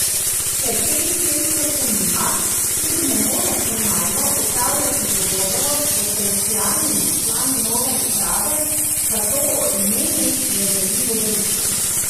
Ker te licence še nima, tudi ne more formalno opravljati pogovorov s potencialnimi člani nove uprave, zato o imenih ne želi govoriti.